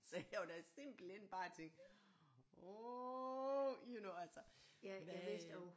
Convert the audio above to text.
Så jeg var da simpelthen bare jeg tænke åh you know altså hvad øh